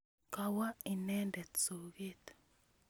Kawo inendet soget